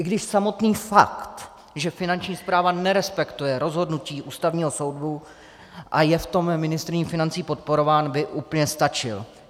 I když samotný fakt, že Finanční správa nerespektuje rozhodnutí Ústavního soudu a je v tom ministryní financí podporována, by úplně stačil.